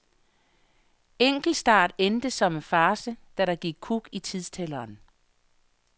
Enkeltstart endte som en farce, da der gik kuk i tidstælleren.